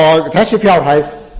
þessi fjárhæð